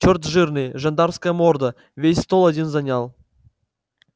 черт жирный жандармская морда весь стол один занял